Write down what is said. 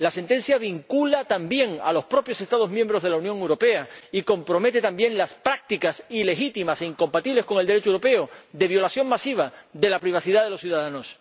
La sentencia vincula también a los propios Estados miembros de la Unión Europea y compromete también las prácticas ilegítimas e incompatibles con el Derecho europeo de violación masiva de la privacidad de los ciudadanos.